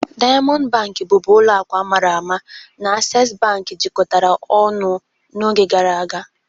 Diamọndụ Bankị, bụbu ụlọ akụ a mara ama, na Aksesị Bankị jikọtara ọnụ n'oge gara aga.